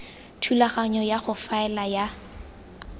thulaganyo ya go faela ya